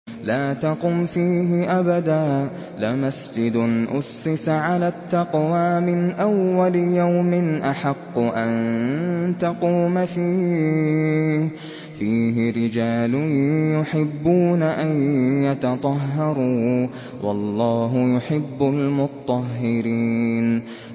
لَا تَقُمْ فِيهِ أَبَدًا ۚ لَّمَسْجِدٌ أُسِّسَ عَلَى التَّقْوَىٰ مِنْ أَوَّلِ يَوْمٍ أَحَقُّ أَن تَقُومَ فِيهِ ۚ فِيهِ رِجَالٌ يُحِبُّونَ أَن يَتَطَهَّرُوا ۚ وَاللَّهُ يُحِبُّ الْمُطَّهِّرِينَ